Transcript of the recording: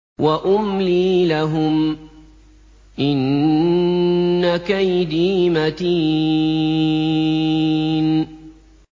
وَأُمْلِي لَهُمْ ۚ إِنَّ كَيْدِي مَتِينٌ